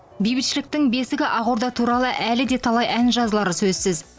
бейбітшіліктің бесігі ақорда туралы әлі де талай ән жазылары сөзсіз